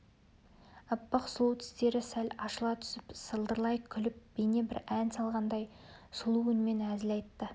аппақ сұлу тістері сәл ашыла түсіп сылдырлай күліп бейне бір ән салғандай сұлу үнмен әзіл айтты